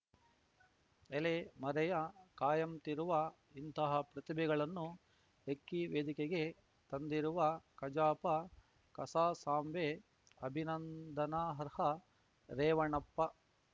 ಎಲೆ ಮರೆಯ ಕಾಯಂತಿರುವ ಇಂತಹ ಪ್ರತಿಭೆಗಳನ್ನು ಹೆಕ್ಕಿ ವೇದಿಕೆಗೆ ತಂದಿರುವ ಕಜಾಪ ಕಸಾಸಾಂವೇ ಅಭಿನಂದನಾರ್ಹ ರೇವಣಪ್ಪ